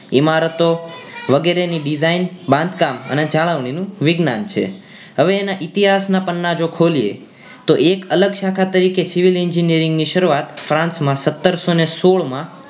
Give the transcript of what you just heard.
ઈમારતો વગરે ની design બાંધકામ અને જાળવણી નું વિજ્ઞાન છે હવે એના ઈતિહાસ ના પન્ના જો ખોલીએ તો એક અલગ શાખા તરીકે civil engineering ની શરૂઆત franch માં સતરસો ને સોળ માં